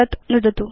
तत् नुदतु